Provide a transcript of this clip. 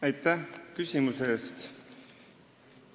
Aitäh küsimuse eest!